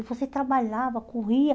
E você trabalhava, corria.